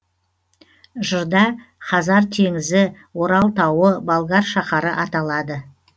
жырда хазар теңізі орал тауы болгар шаһары аталады